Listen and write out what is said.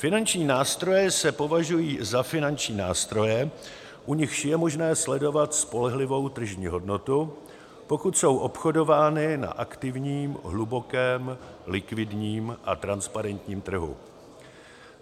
Finanční nástroje se považují za finanční nástroje, u nichž je možné sledovat spolehlivou tržní hodnotu, pokud jsou obchodovány na aktivním, hlubokém, likvidním a transparentním trhu.